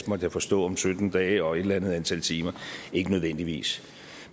måtte jeg forstå om sytten dage og et eller andet antal timer ikke nødvendigvis